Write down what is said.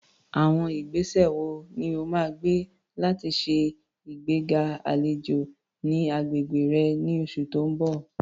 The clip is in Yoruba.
Àwọn ìgbésẹ̀ wo ni o máa gbé láti ṣe ìgbéga àlejò ní agbègbè rẹ ní oṣù tó ń bọ̀?